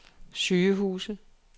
sygehuse